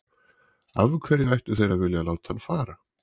Af hverju ættu þeir að vilja láta hann fara?